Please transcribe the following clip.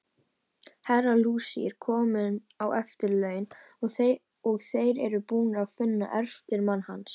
Herra Luigi er kominn á eftirlaun, og þeir eru búnir að finna eftirmann hans.